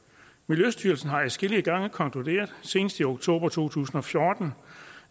miljøstyrelsen har adskillige gange konkluderet senest i oktober to tusind og fjorten